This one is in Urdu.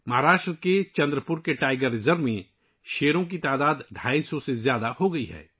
مہاراشٹر کے چندر پور کے ٹائیگر ریزرو میں شیروں کی تعداد 250 سے زیادہ ہو گئی ہے